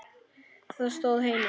Það stóð heima.